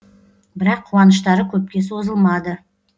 бірақ қуаныштары көпке созылмады